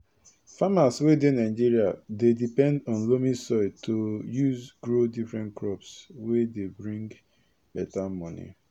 farmers wey dey nigeria dey depend on loamy soil to use grow different crops wey de bring beta moni